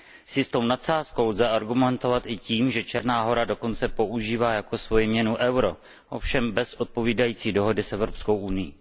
S jistou nadsázkou lze argumentovat i tím, že Černá Hora dokonce používá jako svoji měnu euro, ovšem bez odpovídající dohody s Evropskou unií.